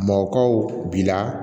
Mɔbakaw bi la